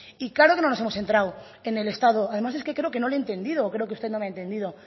y claro que no nos hemos centrado en el estado además es que creo que no le he entendido o creo que usted no me ha entendido